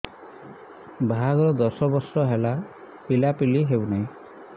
ବାହାଘର ଦଶ ବର୍ଷ ହେଲା ପିଲାପିଲି ହଉନାହି